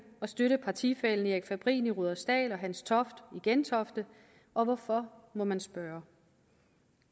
og støtte partifællen erik fabrin i rudersdal og hans toft i gentofte og hvorfor må man spørge